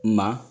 Ma